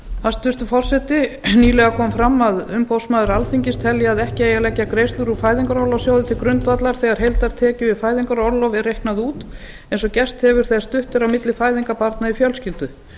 hæstvirtur forseti nýlega kom fram að umboðsmaður alþingis telji að ekki eigi að leggja greiðslur úr fæðingarorlofssjóði til grundvallar þegar heildartekjur við fæðingarorlof eru reiknaðar út eins og gerst hefur þegar stutt er á milli fæðinga barna í fjölskyldu